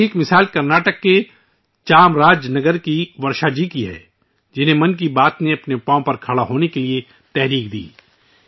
ایسی ہی ایک مثال کرناٹک کے چام راج نگر کی ورشا جی کی ہے، جنہوں نے ' من کی بات ' سے متاثر ہو کر اپنے پیروں پر کھڑے ہو نے کی کوشش کی